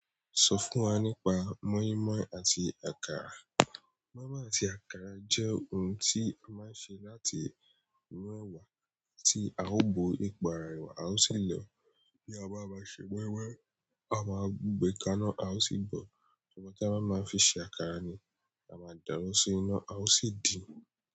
Sọ fún wa nípa moinmoin àti àkàrà. Moinmoin àti àkàrà jẹ́ ohun tí a máa ń ṣe láti inú ẹ̀wà tí a ó bo epo ara rẹ̀ a ó sì lọ. Bí a bá máa ṣe moinmoin, a máa n gbé kaná a ó sì bọ̀. Ṣùgbọ́n ta bá máa fi ṣe àkàrà ni a máa dà wọn sí ina a ó sì dín.